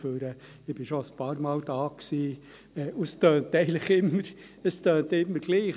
Ich war schon einige Male hier, und es klingt eigentlich immer gleich.